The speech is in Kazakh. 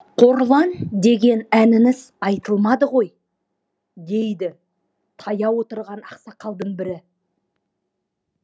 қорлан деген әніңіз айтылмады ғой дейді таяу отырған ақсақалдың бірі